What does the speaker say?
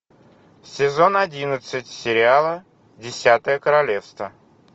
сезон одиннадцать сериала десятое королевство